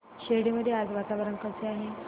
शिर्डी मध्ये आज वातावरण कसे आहे